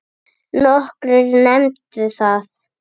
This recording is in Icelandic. Nokkrir nefndu það.